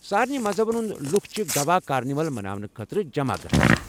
سارِنے مذہبَن ہُنٛدِ لُکھ چھِ گوا کارنیول مناونہٕ خٲطرٕ جمع گژھان۔